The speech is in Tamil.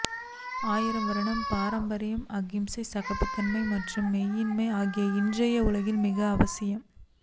ஆயிரம் வருட பாரம்பரியம் அகிம்சை சகிப்புத்தன்மை மற்றும் மெய்யியல் ஆகியவை இன்றைய உலகில் மிகவும் அவசியம்